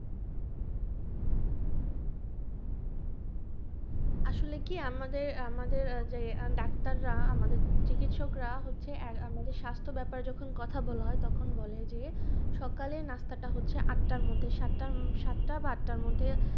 আসলে কি আমাদের এর আমাদের যে ডাক্তাররা আমাদের চিকিৎসকরা হচ্ছে আমাদের স্বাস্থ্য ব্যাপারে যখন কথা বলা হয় তখন বলে যে সকালের নাস্তাটা হচ্ছে আটটার মধ্যে সাতটা হম বা আটটার মধ্যে